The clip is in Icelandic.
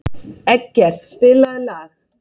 Eggert, spilaðu lag.